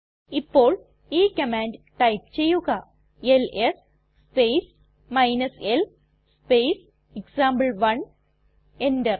ഇപ്പോൾ ഈ command type ചെയ്യുക LS space l space example one enter